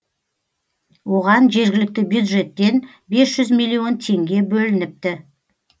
оған жергілікті бюджеттен бес жүз миллион теңге бөлініпті